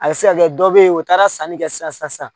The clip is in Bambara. A se ka kɛ dɔ bɛ ye u taara sanni kɛ sisan sisan sisan.